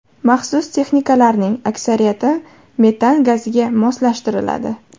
Maxsus texnikalarning aksariyati metan gaziga moslashtiriladi.